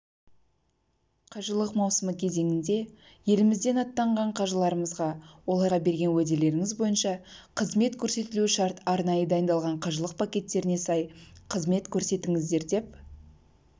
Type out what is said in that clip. қажылық маусымы кезеңінде елімізден аттанған қажыларымызға оларға берген уәделеріңіз бойынша қызмет көрсетілуі шарт арнайы дайындалған қажылық пакеттеріне сай қызмет көрсетіңіздер деп